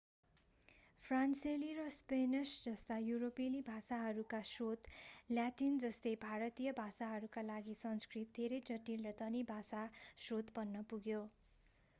फ्रान्सेली र स्पेनिश जस्ता युरोपेली भाषाहरूका स्रोत ल्याटिन जस्तै भारतीय भाषाहरूका लागि संस्कृत धेरै जटिल र धनी भाषा स्रोत बन्न पुग्यो